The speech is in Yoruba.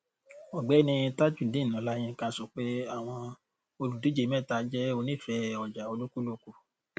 ọgbẹni tajudeen ọláyínká sọ pé àwọn olùdíje mẹta jẹ onífẹẹ ọjà olúkúlùkù